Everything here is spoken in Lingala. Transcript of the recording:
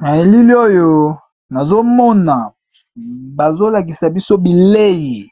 Na elile oyo nazomona bazolakisa biso bileyi,